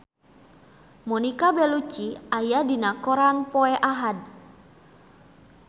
Monica Belluci aya dina koran poe Ahad